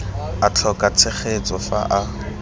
a tlhoka tshegetso fa a